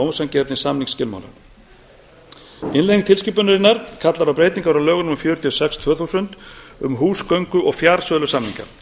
ósanngjarnir samningsskilmálar innlegg tilskipunarinnar kallar á breytingar á lögum númer fjörutíu og sex tvö þúsund um húsgöngu og fjarsölusamninga